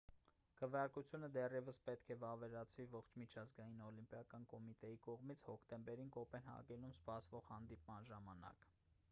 քվեարկությունը դեռևս պետք է վավերացվի ողջ միջազգային օլիմպիական կոմիտեի կողմից հոկտեմբերին կոպենհագենում սպասվող հանդիպման ժամանակ